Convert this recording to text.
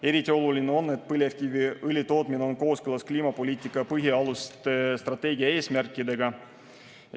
Eriti oluline on, et põlevkiviõli tootmine on kooskõlas kliimapoliitika põhialuste strateegia eesmärkidega.